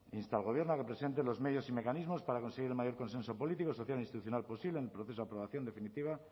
insta al gobierno a que presente los medios y mecanismos para conseguir el mayor consenso político social e institucional posible en el proceso de aprobación definitiva